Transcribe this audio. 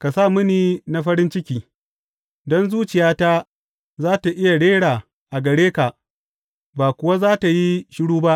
ka sa mini na farin ciki, don zuciyata za tă iya rera gare ka ba kuwa za tă yi shiru ba.